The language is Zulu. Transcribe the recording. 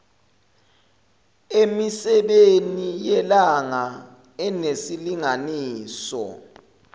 emisebeni yelanga enesilinganiso